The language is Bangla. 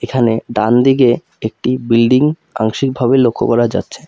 এখানে ডান দিকে একটি বিল্ডিং আংশিক ভাবে লক্ষ্য করা যাচ্ছে।